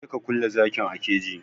Je ka kulle zakin a keji!